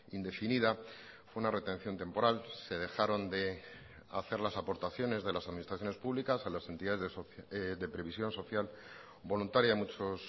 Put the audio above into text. indefinida fue una retención temporal se dejaron de hacer las aportaciones de las administraciones públicas a las entidades de previsión social voluntaria a muchos